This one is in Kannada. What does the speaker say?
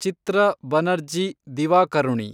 ಚಿತ್ರ ಬನರ್ಜಿ ದಿವಾಕರುಣಿ